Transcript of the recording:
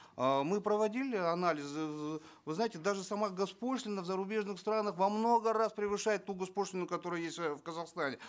э мы проводили анализ вы знаете даже сама гос пошлина в зарубежных странах во много раз превышает ту гос пошлину которая есть э в казахстане